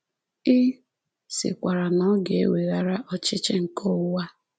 Ị sịkwara na ọ ga-eweghara ọchịchị nke ụwa a.